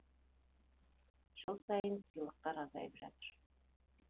жыл сайын сыйлықтар азайып жатыр